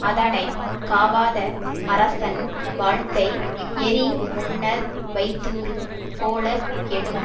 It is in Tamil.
அதனை காவாத அரசன் வாழ்க்கை எரி முன்னர் வைத்தூறு போலக் கெடும்